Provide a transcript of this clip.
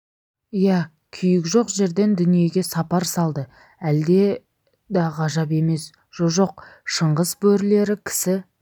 иә күйік жоқ жерден дүниеге сапар салды әлде да ғажап емес жоқ жоқ шыңғыс бөрілері кісі